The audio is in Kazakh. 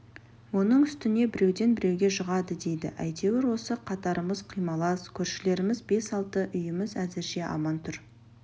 оның үстіне біреуден біреуге жұғады дейді әйтеуір осы қатарымыз құймалас көршілеріміз бес-алты үйіміз әзірше аман тұр